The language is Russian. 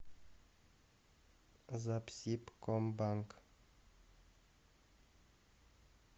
запсибкомбанк